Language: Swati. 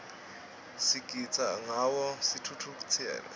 sigitsa ngawo sitfukutseti